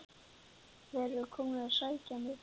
Þeir eru komnir að sækja mig.